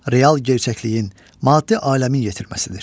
Real gerçəkliyin, maddi aləmin yetirməsidir.